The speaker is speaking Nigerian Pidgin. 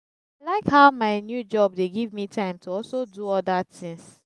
i like how my new job dey give me time to also do other things